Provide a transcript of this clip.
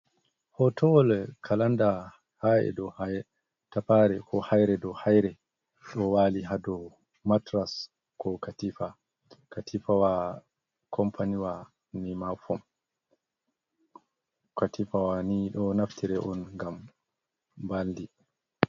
Hotowol kalanda, haire dou tafare, ko haire dou haire. Ɗo waali ha dou matras, ko katifa. Katifawa kompaniwa nimafom. Katifawa ni ɗo naftire on ngam mbaldi.